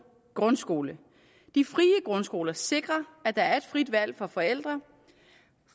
grundskole de frie grundskoler sikrer at der er et frit valg for forældre